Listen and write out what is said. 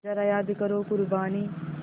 ज़रा याद करो क़ुरबानी